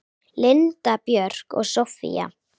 Linda Björk og Soffía.